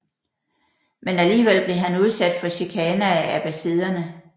Men alligevel blev han udsat for chikane af abbasiderne